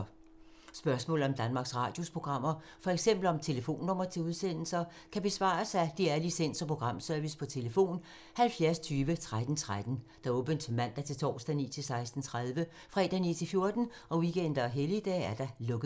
Spørgsmål om Danmarks Radios programmer, f.eks. om telefonnumre til udsendelser, kan besvares af DR Licens- og Programservice: tlf. 70 20 13 13, åbent mandag-torsdag 9.00-16.30, fredag 9.00-14.00, weekender og helligdage: lukket.